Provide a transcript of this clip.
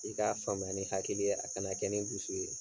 I k'a faamuya ni hakili ye a kana kɛ ni dusu ye.